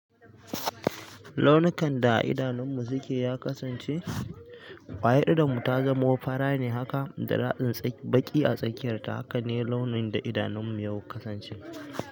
Launukan da a idanunmu suke ya kasance, waye idanmu ta zamo fara ne haka da ra'ayin baƙi a tsakiyarta, haka ne launin da idanunmu yau kasance.